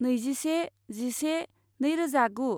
नैजिसे जिसे नैरोजागु